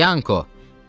Yanko!